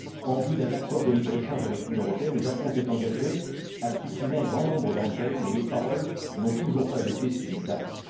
En vue d'un d'accord de libre échange avec l'Union européenne, le Japon s'est engagé à supprimer un grand nombre d'entre elles, mais les paroles n'ont toujours pas été suivies d'actes.